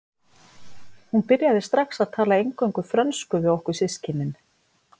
Hún byrjaði strax að tala eingöngu frönsku við okkur systkinin.